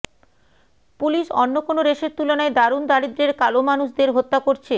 police অন্য কোন রেসের তুলনায় দারুন দারিদ্র্যের কালো মানুষদের হত্যা করছে